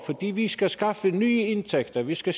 vi skal skaffe nye indtægter og vi skal